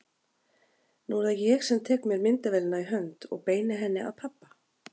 Nú er það ég sem tek mér myndavélina í hönd og beini henni að pabba.